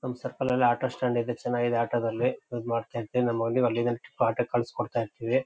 ನಮ್ ಸರ್ಕಲ ಲ್ಲಿ ಆಟೋ ಸ್ಟಾಂಡ್ ಇದೆ. ಚೆನ್ನಾಗಿದೆ ಆಟೋ ದಲ್ಲಿ ಯೂಸ್ ಮಾಡ್ತಿರ್ತಿವಿ. ನಮ್ಮ ಹುಡ್ಗಿಗೆ ಅಲ್ಲಿಂದಾನೆ ಆಟೋ ಕಳಿಸಿ ಕೊಡ್ತಇರ್ತ್ತೀವಿ.